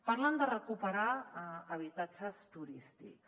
parlen de recuperar habitatges turístics